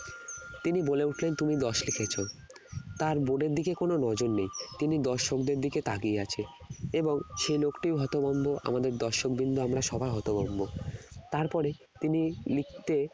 তিনি বলে উঠলেন দশ লিখেছ তার board এর দিকে কোন নজর নেই তিনি দর্শকদের দিকে তাকিয়ে আছে এবং সেই লোকটিও হতভম্ব আমাদের দর্শকবৃন্দ আমরা সবাই হতভম্ব তারপরে তিনি লিখতে